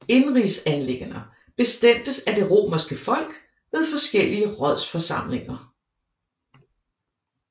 Indenrigsanliggender bestemtes af det romerske folk ved forskellige rådsforsamlinger